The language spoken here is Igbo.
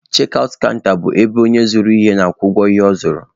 Chek aụt kanta bụ ebe onye zụrụ ihe na-akwụ ụgwọ ihe ọ zụrụ.